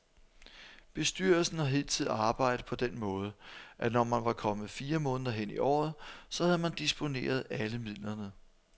Bestyrelsen har hidtil arbejdet på den måde, at når man var kommet fire måneder hen i året, så havde man disponeret alle midlerne.